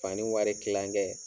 Fani wari kilankɛ.